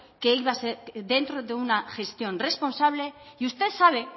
que iba a ser dentro de una gestión responsable y usted sabe